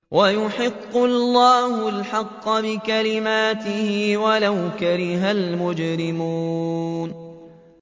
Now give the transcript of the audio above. وَيُحِقُّ اللَّهُ الْحَقَّ بِكَلِمَاتِهِ وَلَوْ كَرِهَ الْمُجْرِمُونَ